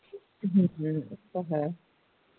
ਹੂ ਉਹ ਤੇ ਹੈ